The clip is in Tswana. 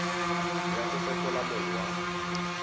ya go fetola mong wa